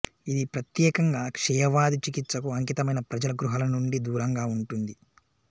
ఇది ప్రత్యేకంగా క్షయవ్యాధి చికిత్సకు అంకితమైన ప్రజల గృహాల నుండి దూరంగా ఉంటుంది